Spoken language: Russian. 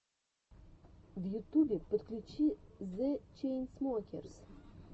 в ютубе подключи зе чейнсмокерс